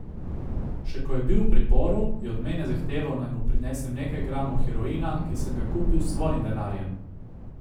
Še ko je bil v priporu, je od mene zahteval, naj mu prinesem nekaj gramov heroina, ki sem ga kupil s svojim denarjem.